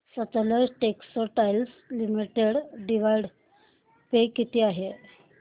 Sutlej textiles limited dividend pay किती आहे